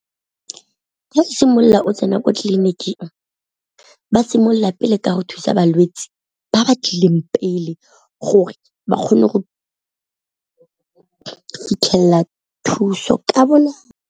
o simolola o tsena ko tleliniking ba simolola pele ka go thusa balwetse ba ba tlileng pele gore ba kgone go fitlhelela thuso ka bonako.